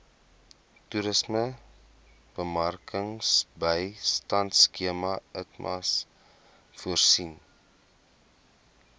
toerismebemarkingbystandskema itmas voorsien